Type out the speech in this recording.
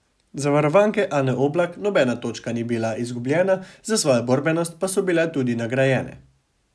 Za varovanke Ane Oblak, nobena točka ni bila izgubljena, za svojo borbenost pa so bile tudi nagrajene.